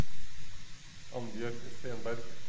Annbjørg Stenberg